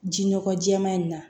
Ji nɔgɔ jɛɛma in na